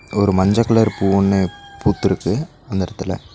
ஒரு மஞ்ச கலர் பூ ஒன்னு பூத்துருக்கு அந்த எடத்துல.